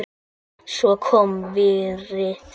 Svo kom vorið.